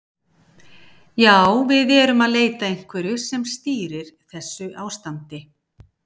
Já, við erum að leita að einhverju sem stýrir þessu ástandi.